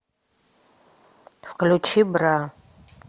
включи бра